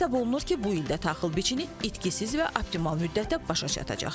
Hesab olunur ki, bu ildə taxıl biçini itkisiz və optimal müddətdə başa çatacaq.